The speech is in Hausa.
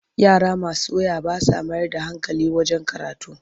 Yara masu waya ba sa mayar da hankali wajen karatu.